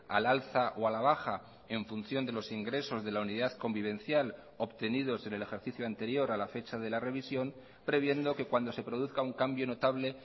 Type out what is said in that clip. al alza o a la baja en función de los ingresos de la unidad convivencial obtenidos en el ejercicio anterior a la fecha de la revisión previendo que cuando se produzca un cambio notable